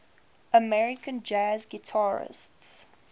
american jazz guitarists